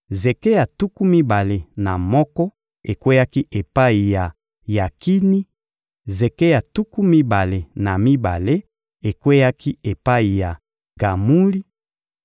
zeke ya tuku mibale na moko ekweyaki epai ya Yakini; zeke ya tuku mibale na mibale ekweyaki epai ya Gamuli;